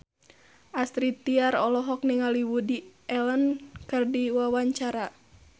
Astrid Tiar olohok ningali Woody Allen keur diwawancara